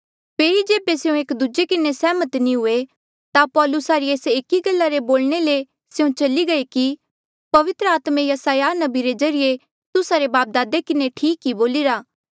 फेरी जेबे स्यों एक दूजे किन्हें सहमत नी हुए ता पौलुसा री एस एकी गल्ला रे बोलणे ले स्यों चली गये कि पवित्र आत्मे यसायाह नबी रे ज्रीए तुस्सा रे बापदादे किन्हें ठीक ई बोलिरा